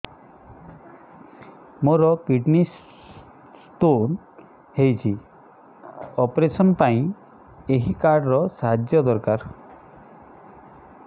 ମୋର kidney stone ହଇଛି operation ପାଇଁ ଏହି କାର୍ଡ ର ସାହାଯ୍ୟ ଦରକାର